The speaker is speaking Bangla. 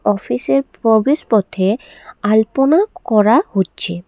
অফিসের প্রবেশপথে আলপনা করা হচ্ছে।